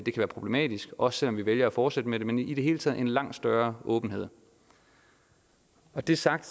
være problematisk også selv om vi vælger at fortsætte med det men i det hele taget en langt større åbenhed når det er sagt